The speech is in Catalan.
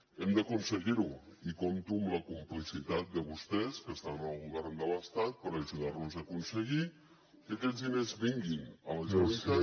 hem d’aconseguir ho i compto amb la complicitat de vostès que estan en el govern de l’estat per ajudar nos a aconseguir que aquests diners vinguin a la generalitat